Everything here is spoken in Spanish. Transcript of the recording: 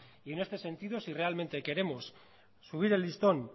y en este sentido si realmente queremos subir el listón